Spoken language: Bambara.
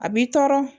A b'i tɔɔrɔ